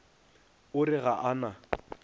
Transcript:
o re ga a na